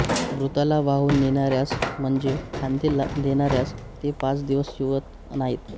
मृताला वाहून नेणाऱ्यास म्हणजे खांदे देणाऱ्यास ते पाच दिवस शिवत नाहीत